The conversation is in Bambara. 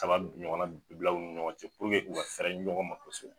Kala ɲɔgɔn na bila o nin ɲɔgɔn cɛ u ka fɛɛrɛ ɲɔgɔn ma; kosɛbɛ.